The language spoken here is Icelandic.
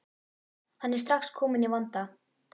Hann er strax kominn í vanda.